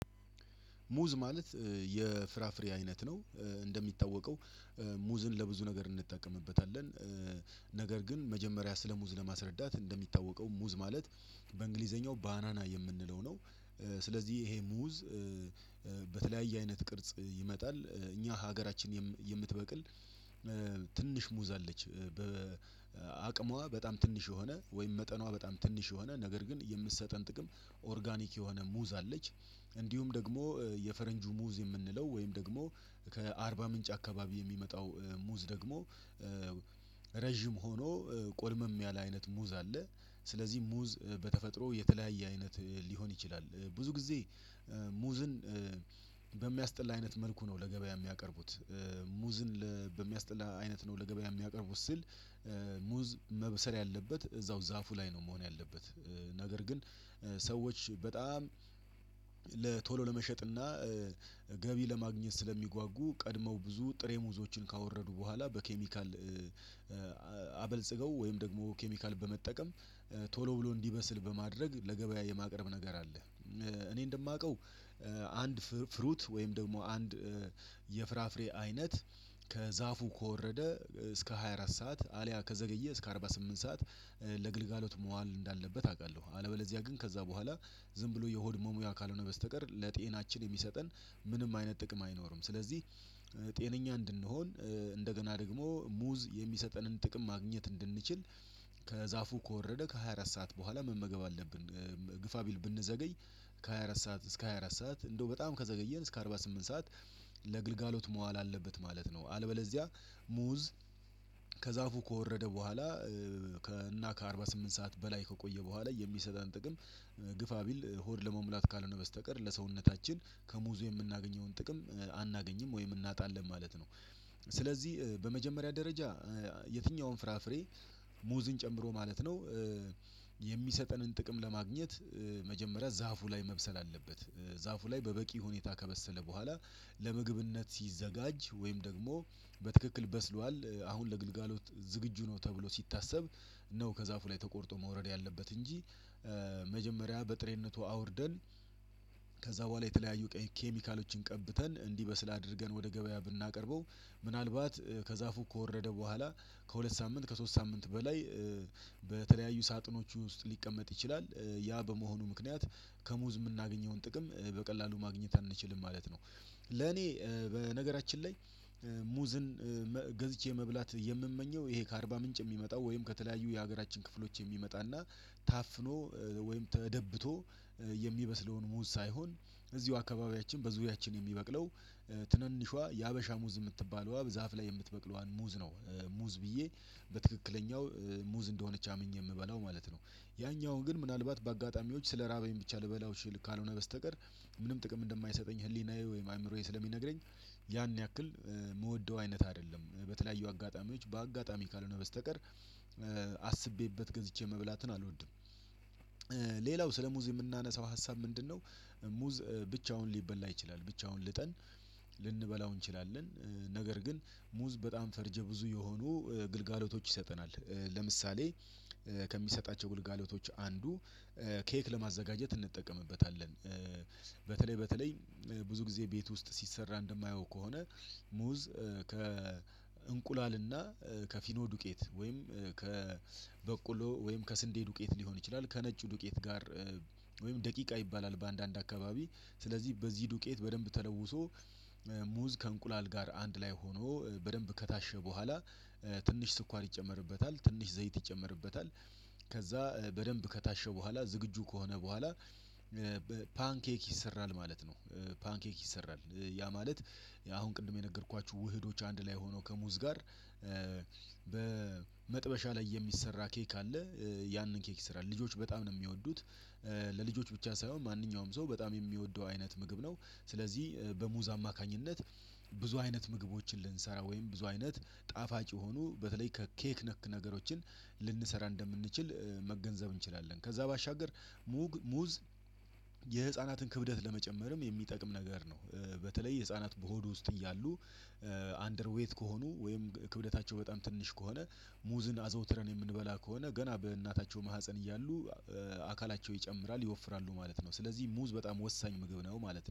ሙዝ ማለት የፍራፍሬ አይነት ነው። እንደሚታወቀው ሙዝን ለብዙ ነገር እንጠቀምበታለን። ነገር ግን መጀመሪያ ስለሙዝ ለማስረዳት እንደሚታወቀው ሙዝ ማለት በእንግሊዘኛው ባናና የምንለው ነው። ስለዚህ ይሄ ሙዝ። በተለያየ አይነት ቅርጽ ይመጣል እኛ ሀገራችን የምትበቅል። ትንሽ ሙዛለች በአቅሟ በጣም ትንሽ የሆነ ወይም መጠኗ በጣም ትንሽ የሆነ ነገር ግን የምትሰጠን ጥቅም ኦርጋኒክ የሆነ ሙዝ አለች። እንዲሁም ደግሞ የፈረንጅ ሙዝ የምንለው ወይም ደግሞ ከአርባ ምንጭ አካባቢ የሚመጣው ሙዝ ደግሞ። ረጅም ሆኖ ቆልመም ያለ አይነት ሙዝ አለ። ስለዚህ ሙዝ በተፈጥሮ የተለያየ አይነት ሊሆን ይችላል ብዙ ጊዜ። ሙዝን በሚያስጠላ አይነት መልኩ ነው ለገበያ የሚያቀርቡት። ሙዝን በሚያስጠላ አይነት ነው ለገበያ የሚያቀርቡት ስል። ሙዝ መብሰር ያለበት እዛው ዛፉ ላይ ነው መሆን ያለበት። ነገር ግን ሰዎች በጣም ቶሎ ለመሸጥና ገቢ ለማግኘት ስለሚጓጉ ቀድመው ብዙ ጥሬ ሙዞችን ካወረዱ በኋላ በኬሚካል አበልጽገው ወይም ደግሞ ኬሚካል በመጠቀም ቶሎ ብሎ እንዲበስል በማድረግ ለገበያ የማቅረብ ነገር አለ። እኔ እንደማውቀው አንድ ፍሩት ወይም ደግሞ አንድ የፍራፍሬ አይነት ከዛፉ ከወረደ እስከ ሃያ አራት ሰዓት አልያ ከዘገየ እስከ አርባ ስምንት ሰዓት ለግልጋሎት መዋል እንዳለበት አውቃለሁ። አለበለዚያ ግን ከዛ በኋላ ዝም ብሎ የሆድ መሙያ ካልሆነ በስተቀር ለጤናችን የሚሰጠን ምንም አይነት ጥቅም አይኖርም። ስለዚህ ጤነኛ እንድንሆን እንደገና ደግሞ ሙዝ የሚሰጠንን ጥቅም ማግኘት እንድንችል ከዛፉ ከወረደ ከሃያ አራት ሰዓት በኋላ መመገብ አለብን። ግፋ ቢል ብንዘገይ ከሃያ አራት ሰዓት እስከ ሃያ አራት ሰዓት እንደው በጣም ከዘገየን እስከ አርባ ስምንት ሰዓት ለግልጋሎት መዋል አለበት ማለት ነው። አለበለዚያ ሙዝ ከዛፉ ከወረደ በኋላ ከና ከአርባ ስምንት ሰዓት በላይ ከቆየ በኋላ የሚሰጠን ጥቅም ግፋ ቢል ሆድ ለመሙላት ካልሆነ በስተቀር ለሰውነታችን ከሙዙ የምናገኘውን ጥቅም አናገኝም ወይም እናጣለን ማለት ነው። ስለዚህ በመጀመሪያ ደረጃ የትኛውም ፍራፍሬ ሙዝን ጨምሮ ማለት ነው። የሚሰጠንን ጥቅም ለማግኘት መጀመሪያ ዛፉ ላይ መብሰል አለበት። ዛፉ ላይ በበቂ ሁኔታ ከበሰለ በኋላ ለምግብነት ሲዘጋጅ ወይም ደግሞ በትክክል በስሏል አሁን ለግልጋሎት ዝግጁ ነው ተብሎ ሲታሰብ ነው ከዛፉ ላይ ተቆርጦ መውረድ ያለበት እንጂ። መጀመሪያ በጥሬነቱ አውርደን ከዛ በኋላ የተለያዩ ኬሚካሎችን ቀብተን እንዲህ በስል አድርገን ወደ ገበያ ብናቀርበው። ምናልባት ከዛፉ ከወረደ በኋላ ከሁለት ሳምንት ከሶስት ሳምንት በላይ በተለያዩ ሳጥኖቹ ውስጥ ሊቀመጥ ይችላል። ያ በመሆኑ ምክንያት ከሙዝ የምናገኘውን ጥቅም በቀላሉ ማግኘት አንችልም ማለት ነው። ለኔ በነገራችን ላይ ሙዝን ገዝቼ መብላት የምመኘው ይሄ ከአርባ ምንጭ የሚመጣው ወይም ከተለያዩ የሀገራችን ክፍሎች የሚመጣና ታፍኖ ወይም ተደብቶ የሚበስለውን ሙዝ ሳይሆን እዚሁ አካባቢያችን በዙሪያችን የሚበቅለው ትንንሿ የሀበሻ ሙዝ የምትባለዋ ዛፍ ላይ የምትበቅለዋን ሙዝ ነው። ሙዝ ብዬ በትክክለኛው ሙዝ እንደሆነች አምኜ የምበላው ማለት ነው። ያኛውን ግን ምናልባት በአጋጣሚዎች ስለራበኝ ብቻ ልበላው ችል ካልሆነ በስተቀር ምንም ጥቅም እንደማይሰጠኝ ህሊናዬ ወይም አእምሮዬ ስለሚነግረኝ ያን ያክል የምወደው አይነት አይደለም። በተለያዩ አጋጣሚዎች በአጋጣሚ ካልሆነ በስተቀር አስቤበት ገዝቼ መብላትን አልወድም። ሌላው ስለሙዝ የምናነሳው ሀሳብ ምንድነው? ሙዝ ብቻውን ሊበላ ይችላል ብቻውን ልጠን ልንበላው እንችላለን። ነገር ግን ሙዝ በጣም ፈርጀ ብዙ የሆኑ ግልጋሎቶች ይሰጠናል። ለምሳሌ ከሚሰጣቸው ግልጋሎቶች አንዱ ኬክ ለማዘጋጀት እንጠቀምበታለን። በተለይ በተለይ ብዙ ጊዜ ቤት ውስጥ ሲሰራ እንደማየው ከሆነ ሙዝ ከእንቁላልና ከፊኖ ዱቄት ወይም ከበቆሎ ወይም ከስንዴ ዱቄት ሊሆን ይችላል ከነጩ ዱቄት ጋር ወይም ደቂቃ ይባላል በአንዳንድ አካባቢ ስለዚህ በዚህ ዱቄት በደንብ ተለውሶ ሙዝ ከእንቁላል ጋር አንድ ላይ ሆኖ በደንብ ከታሸ በኋላ ትንሽ ስኳር ይጨመርበታል ትንሽ ዘይት ይጨመርበታል። ከዛ በደንብ ከታሸ በኋላ ዝግጁ ከሆነ በኋላ ፓንኬክ ይሰራል ማለት ነው። ፓንኬክ ይሰራል። ያ ማለት አሁን ቅድም የነገርኳችሁ ውህዶች አንድ ላይ ሆኖ ከሙዝ ጋር በመጥበሻ ላይ የሚሰራ ኬክ አለ። ያንን ኬክ ይሰራል ልጆች በጣም ነው የሚወዱት። ለልጆች ብቻ ሳይሆን ማንኛውም ሰው በጣም የሚወደው አይነት ምግብ ነው። ስለዚህ በሙዛ አማካኝነት ብዙ አይነት ምግቦችን ልንሰራ ወይም ብዙ አይነት ጣፋጭ የሆኑ በተለይ ከኬክ ነክ ነገሮችን ልንሰራ እንደምንችል መገንዘብ እንችላለን። ከዛ ባሻገር ሙግ ሙዝ የህፃናትን ክብደት ለመጨመርም የሚጠቅም ነገር ነው። በተለይ የህፃናት በሆድ ውስጥ እያሉ አንደርዌት ከሆኑ ወይም ክብደታቸው በጣም ትንሽ ከሆነ ሙዝን አዘውትረን የምንበላ ከሆነ ገና በእናታቸው ማህፀን እያሉ አካላቸው ይጨምራል ይወፍራሉ ማለት ነው። ስለዚህ ሙዝ በጣም ወሳኝ ምግብ ነው ማለት ነው